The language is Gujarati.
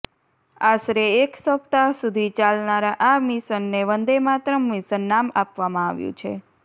આશરે એક સપ્તાહ સુધી ચાલનારા આ મિશનને વંદે માતરમ મિશન નામ આપવામાં આવ્યું છે